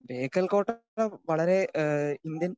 speaker 2 ബേക്കൽകോട്ട വളരെ അഹ് ഇന്ത്യൻ